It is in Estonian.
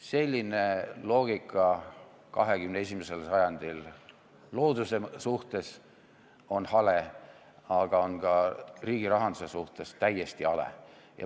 Selline loogika 21. sajandil looduse suhtes on hale, aga on ka riigi rahanduse suhtes täiesti hale.